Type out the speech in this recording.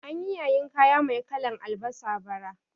Anyi yayin kaya mai kalan albasa bara